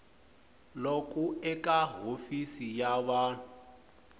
loku eka hofisi ya vun